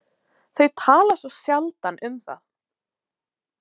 Þau tala svo sjaldan um það.